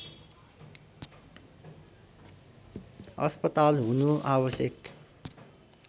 अस्पताल हुनु आवश्यक